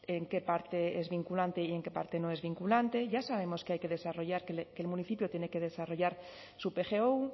en qué parte es vinculante y en que parte no es vinculante ya sabemos que el municipio tiene que desarrollar su pgo